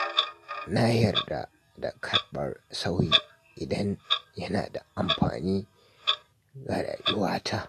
Na yarda da karɓar sauyi idan yana da amfani ga rayuwata.